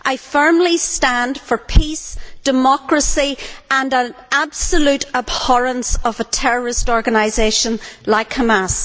I firmly stand for peace, democracy and absolute abhorrence of terrorist organisations like Hamas.